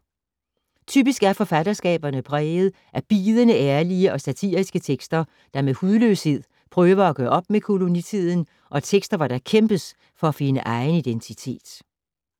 Typisk er forfatterskaberne præget af bidende ærlige og satiriske tekster, der med hudløshed prøver at gøre op med kolonitiden og tekster, hvor der kæmpes for at finde egen identitet.